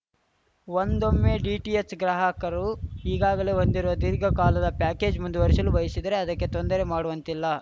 ಒಂದೊಮ್ಮೆ ಡಿಟಿಎಚ್‌ ಗ್ರಾಹಕರು ಈಗಾಗಲೇ ಹೊಂದಿರುವ ದೀರ್ಘಕಾಲದ ಪ್ಯಾಕೇಜ್‌ ಮುಂದುವರಿಶಲು ಬಯಶಿದರೆ ಅದಕ್ಕೆ ತೊಂದರೆ ಮಾಡುವಂತಿಲ್ಲ